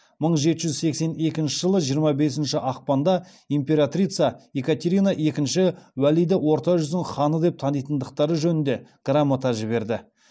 мың жеті жүз сексен екінші жылы жиырма бесінші ақпанда императрица екатерина іі уәлиді орта жүздің ханы деп танитындықтары жөнінде грамота жіберді